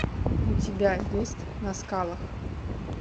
у тебя есть на скалах